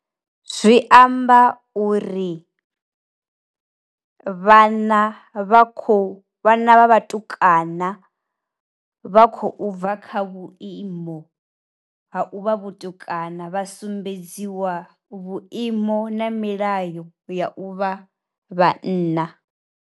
Zwi amba uri, vhana vha khou vhana vha vhatukana vha khou bva kha vhuimo ha u vha vhatukana vha sumbedziwa vhuimo na milayo ya u vha vhanna.